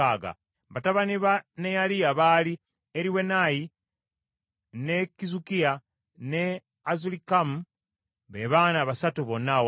Batabani ba Neyaliya baali Eriwenayi, ne Kizukiya, ne Azulikamu, be baana basatu bonna awamu.